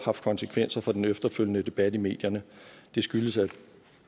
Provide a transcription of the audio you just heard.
haft konsekvenser for den efterfølgende debat i medierne det skyldes at